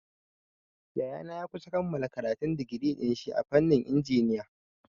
Yayana ya kusa kammala karatun digiri dinshi a fannin injiniya.